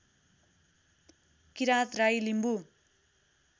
Kirat Rai Limbu